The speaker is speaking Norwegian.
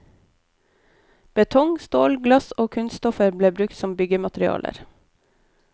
Betong, stål, glass og kunststoffer ble brukt som byggematerialer.